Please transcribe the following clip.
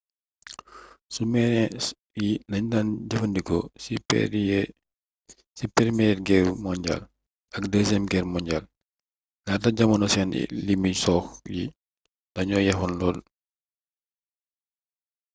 sumarin yi lañu daan jëfandikoo ci përmiyeer geer monjaal ak dësiyeem geer monjaal laata jamono seen limi sox yi dañoo yeexoon lool